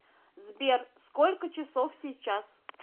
сбер сколько часов сейчас